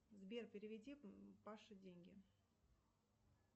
сбер переведи паше деньги